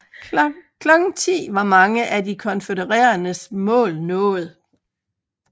Klokken 10 var mange af de konfødereredes mål nået